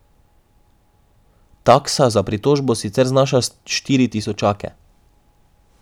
Taksa za pritožbo sicer znaša štiri tisočake.